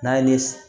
N'a ye ne